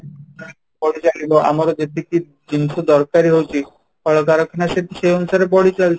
ବଢିଚାଲିବ ଆମର ଯେତିକି ଜିନିଷ ଦରକାର ହେଇଛି କଳକାରଖାନା ସେଇ ଅନୁସାରେ ବଢିଚାଲିଛି